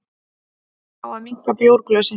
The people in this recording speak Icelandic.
Fá að minnka bjórglösin